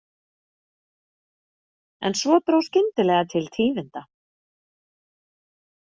En svo dró skyndilega til tíðinda.